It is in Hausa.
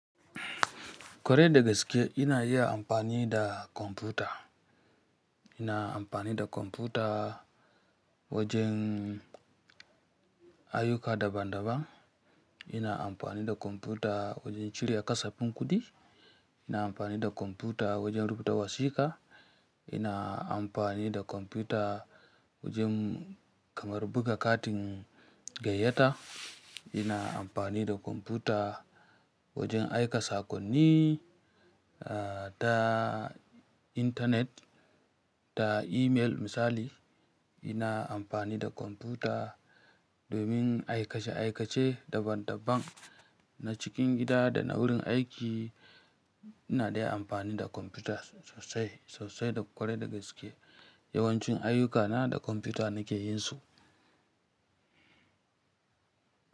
Kwarai da gaske, ina iya amfani da kwamfuta. Ina amfani da kwamfuta wajen ayyuka daban-daban. Ina amfani da kwamfuta wajen cire kasafin kuɗi. Ina amfani da kwamfuta wajen rubuta wasiƙa. Ina amfani da kwamfuta wajen kamar buga katin gayyata. Ina amfani da kwamfuta wajen aika saƙonni, ah, ta intanet, ta email misali, ina amfani da kwamfuta domin aikace-aikace daban-daban na cikin gida da na wurin aiki. Ina dai amfani da kwamfuta sosai, sosai da kwarai da gaske. Yawancin ayyukana da kwamfuta nake yin su.